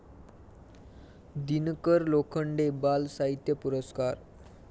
दिनकर लोखंडे बालसाहित्य पुरस्कार